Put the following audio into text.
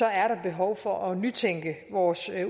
er der behov for at nytænke vores